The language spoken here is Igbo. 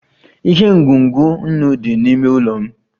Ihe ngwugwu nnu dị n'ime ụlọ m